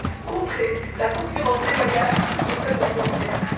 contrer la concurrence déloyale au sein de l'Union européenne.